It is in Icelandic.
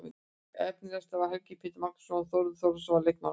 Efnilegastur var Helgi Pétur Magnússon og Þórður Þórðarson var leikmaður ársins.